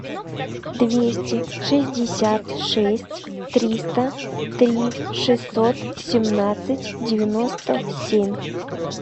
двести шестьдесят шесть триста три шестьсот семнадцать девяносто семь